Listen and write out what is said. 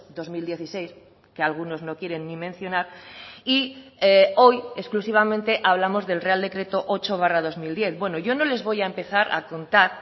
dos mil dieciséis que algunos no quieren ni mencionar y hoy exclusivamente hablamos del real decreto ocho barra dos mil diez bueno yo no les voy a empezar a contar